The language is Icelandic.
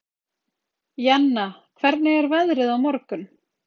Jenna, hvernig er veðrið á morgun?